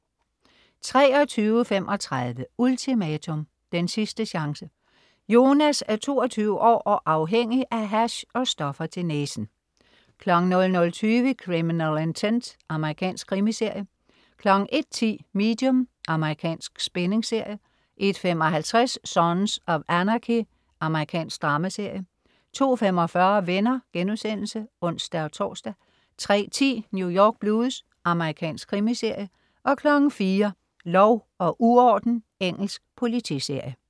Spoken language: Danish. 23.35 Ultimatum. Den sidste chance. Jonas er 22 år og afhængig af hash og stoffer til næsen 00.20 Criminal Intent. Amerikansk krimiserie 01.10 Medium. Amerikansk spændingsserie 01.55 Sons of Anarchy. Amerikansk dramaserie 02.45 Venner* (ons-tors) 03.10 New York Blues. Amerikansk krimiserie 04.00 Lov og uorden. Engelsk politiserie